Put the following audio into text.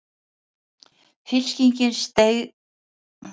Fylkingin seig í áttina að byrginu þar sem Jón Bjarnason stóð nú einn fyrir.